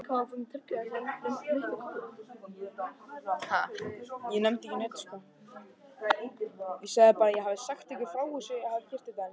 Eyþór, stilltu tímamælinn á sjötíu og eina mínútur.